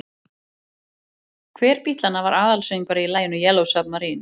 Hver Bítlanna var aðalsöngvari í laginu Yellow Submarine?